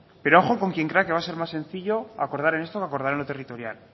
pero ojo con quien crea que va a ser más sencillo acordar en esto o acordar en lo territorial